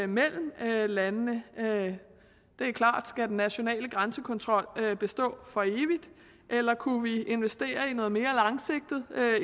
mellem landene det er klart skal den nationale grænsekontrol bestå for evigt eller kunne vi investere i noget mere langsigtet